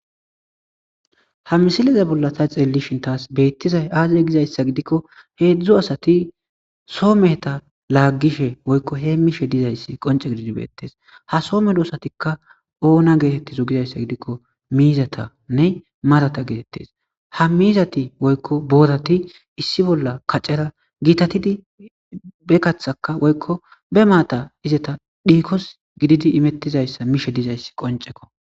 ha misileza bolla sa xeellishin taas beettizay aaze gizayssa gidikko heedzdzu asati soomeheta laaggishe woykko hee mishe dizayssi qonce gididi beettes ha soome doosatikka oona geetettizo gizayssa gidikko miizatanne marata geetettes ha miizati woykko boorati issi bolla kacera giitatidi be kathaka woykko be maata izeta dhiikos gididi imettizayssa mishe dizayssi qonceko